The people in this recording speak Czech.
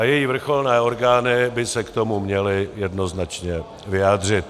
A její vrcholné orgány by se k tomu měly jednoznačně vyjádřit.